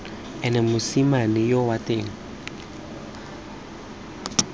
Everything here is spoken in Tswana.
ene mosimane yoo wa teng